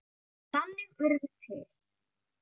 Þannig urðu til